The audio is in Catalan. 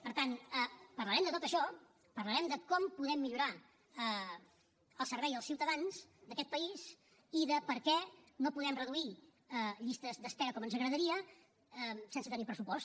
per tant parlarem de tot això parlarem de com podem millorar el servei als ciutadans d’aquest país i de per què no podem reduir llistes d’espera com ens agradaria sense tenir pressupost